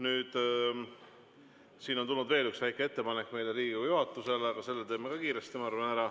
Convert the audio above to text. Nüüd on tulnud veel üks väike ettepanek Riigikogu juhatusele, aga sellega teeme ka kiiresti, ma arvan.